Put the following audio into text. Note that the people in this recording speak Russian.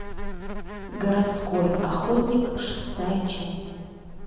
городской охотник шестая часть